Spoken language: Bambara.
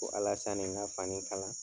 Ko Alasani ka fani kala